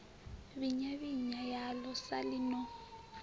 vhinya vhinya yaḽo saḽi no